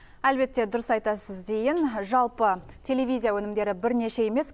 әлбетте дұрыс айтасыз зейін жалпы телевизия өнімдері бірнеше емес